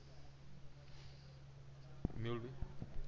Mehulbhai